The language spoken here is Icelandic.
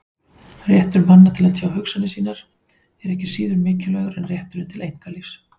Réttur manna til að tjá hugsanir sínar er ekki síður mikilvægur en rétturinn til einkalífs.